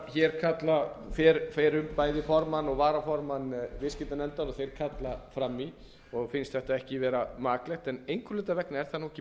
hér kalla fyrrum bæði formann og varaformann viðskiptanefndar og þeir kalla fram í og finnst þetta ekki vera maklegt en einhverra hluta vegna er það ekki